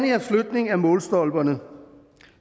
her flytning af målstolperne